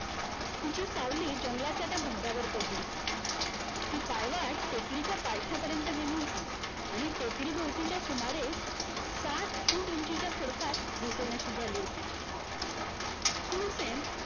तिची सावली जंगलाच्या त्या भागावर पडली होती ती पायवाट टेकडीच्या पायथ्यापर्यंत गेली होती आणि टेकडीभोवतीच्या सुमारे साठ Foot उंचीच्या खडकात दिसेनाशी झाली होती शूरसेन